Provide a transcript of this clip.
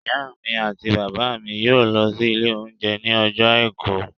Ìyá mi àti bàbá mi yóò lọ sí ilé oúnjẹ ní ọjọ́ àìkú